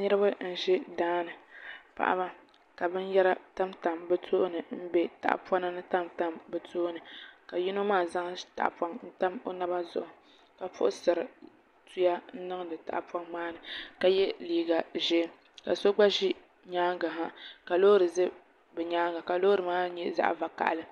Niraba n ʒi daani paɣaba ka binyɛra tamtam bi tooni n bɛ tahapona ni ka yino maa zaŋ tahapoŋ n tam o naba zuɣu ka puɣusiri tuya niŋdi tahapoŋ maa ni ka yɛ liiga ʒiɛ ka so gba ʒi nyaangi ha ka loori ʒi nyaangi ha ka loori maa nyɛ zaɣ vakaɣali